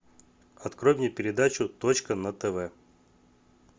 открой мне передачу точка на тв